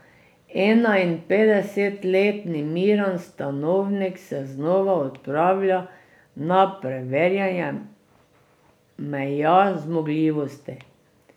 Enainpetdesetletni Miran Stanovnik se znova odpravlja na preverjanje meja zmogljivosti.